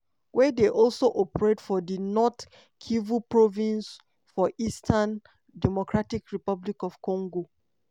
wey dey also operate for di north kivu province for eastern drc.